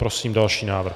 Prosím další návrh.